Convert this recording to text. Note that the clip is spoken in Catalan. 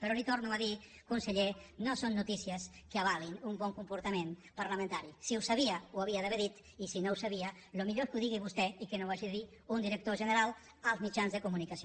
però li ho torno a dir conseller no són notícies que avalin un bon comportament parlamentari si ho sabia ho hauria d’haver dit i si no ho sabia el millor és que ho digui vostè i que no ho hagi de dir un director general als mitjans de comunicació